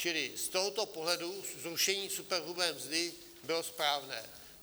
Čili z tohoto pohledu zrušení superhrubé mzdy bylo správné.